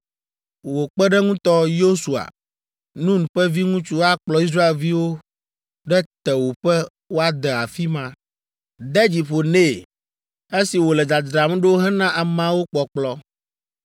Wò kpeɖeŋutɔ, Yosua, Nun ƒe viŋutsu akplɔ Israelviwo ɖe tewòƒe woade afi ma. De dzi ƒo nɛ esi wòle dzadzram ɖo hena ameawo kpɔkplɔ.